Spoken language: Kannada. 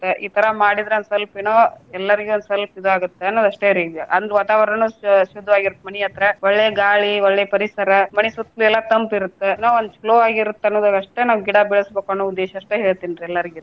ಈ ತರ ಮಾಡಿದ್ರ ಒಂದ ಸ್ವಲ್ಪ ಏನೊ ಎಲ್ಲರಿಗು ಸ್ವಲ್ಪ ಇದಾಗುತ್ತ ಅನ್ನೋದಷ್ಟೆರಿ ಈಗ. ಅಂದ್ ವಾತಾವರಣ ಶು~ ಶುದ್ದವಾಗರುತ್ತ ಮನಿ ಹತ್ರ ಒಳ್ಳೆ ಗಾಳಿ, ಒಳ್ಳೆ ಪರಿಸರ ಮನಿ ಸುತ್ಲು ಎಲ್ಲ ತಂಪ್ ಇರುತ್ತೆ ಏನೊ ಒಂದ್ slow ಆಗಿರುತ್ತೆ ಅನ್ನೋದರಷ್ಟೇ ನಾವ್ ಗಿಡ ಬೆಳಸ್ಬೇಕ ಅನ್ನೋ ಉದ್ದೇಶ ಅಷ್ಟೆ ಹೇಳ್ತಿನ್ರಿ ಎಲ್ಲಾರ್ಗು ರಿ.